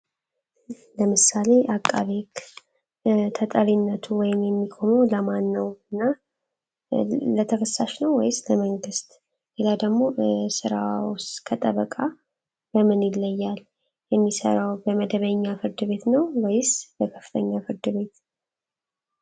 ለምሳሌ አቃቤክ ተጠሪነቱ ወይም የሚቆመ ለማን ነው እና ለተከሳሽ ነው ወይስ ለመንግሥት ሌላ ደግሞ ስራዎስ ከጠበቃ በምን ይለያል። የሚሰራው በመደበኛ ፍርድቤት ነው ወይስ በከፍተኛ ፍርድቤት?